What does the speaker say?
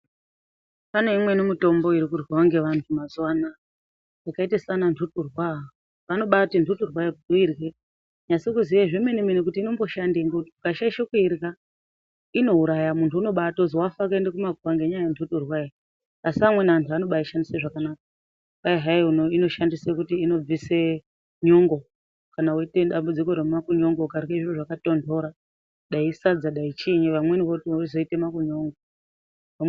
Paneimweni mitombo irikudyiws ngevantu mazuva anaya akaita saananhuturwa anonaiti nhuturwa yako nasa kuziya zvemene meme kuti nhuturwa yakoyo ukashaisha kuidya inouraya unombaitozi muntu wafa waenda kumakuwa ngenyaya yenhututwayo amweni anoishandisa zvakanaka kwahai inorapa nyongo ukadya sadza rapora zviyani.